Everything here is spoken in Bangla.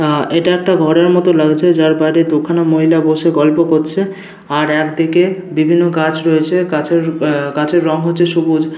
আ এইটা একটা ঘরের মতো লাগছে। যার বাইরে দুখানা মহিলা বসে গল্প করছে। আর একদিকে বিভিন্ন গাছ রয়েছে। গাছের আ গাছের রং হচ্ছে সবুজ।